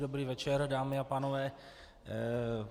Dobrý večer, dámy a pánové.